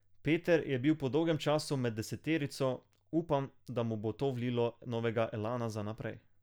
Peter je bil po dolgem času med deseterico, upam, da mu bo to vlilo novega elana za naprej.